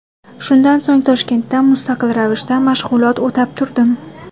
Shundan so‘ng Toshkentda mustaqil ravishda mashg‘ulot o‘tab turdim.